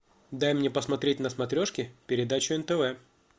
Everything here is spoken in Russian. дай мне посмотреть на смотрешке передачу нтв